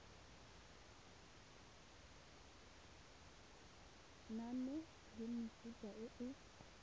lenane la mefuta e e